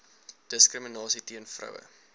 diskriminasie teen vroue